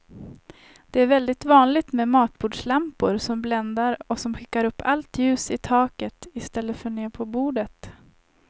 Det är väldigt vanligt med matbordslampor som bländar och som skickar upp allt ljus i taket i stället för ner på bordet.